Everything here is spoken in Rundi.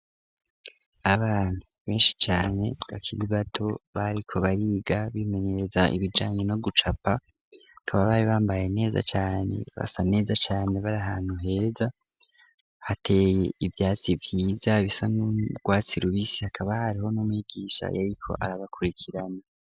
Abantu benshi cane bakiri bato bariko bariga bimenyereza ibijanye no gucapa. Bakaba bari bambaye neza cane basa neza cane. Bari ahantu heza hateye ivyatsi vyiza bisa n'urwatsi rubisi, hakaba hariho n'umwigisha yariko arabakurikirana.